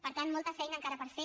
per tant molta feina encara per fer